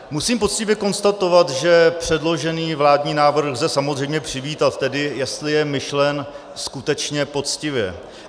Musím poctivě konstatovat, že předložený vládní návrh lze samozřejmě přivítat, tedy jestli je myšlen skutečně poctivě.